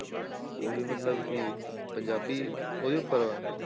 ਉਹ ਵੀ ਮਤਲਬ ਕਿ ਪੰਜਾਬੀ ਉਹਦੇ ਉੱਪਰ ਵਾ?